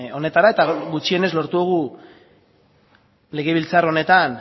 honetara eta gutxienez lortu dugu legebiltzar honetan